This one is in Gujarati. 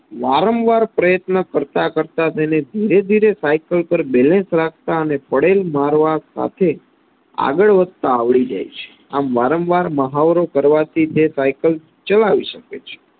વારંવાર પ્રયત્નો કરતા કરતા તેને ધીરે ધીરે સાઈકલ પર balance રાખતા અને પડેલ મારવા સાથે આગળ વધતા આવડી જાય છે આમ વારંવાર મહાવરો કરવાથી તે સાઈકલ ચલાવી શકે છે